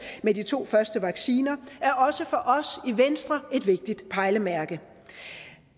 med de to første vacciner er også for os i venstre et vigtigt pejlemærke